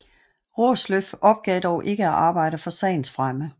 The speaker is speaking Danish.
Raasløff opgav dog ikke at arbejde for sagens fremme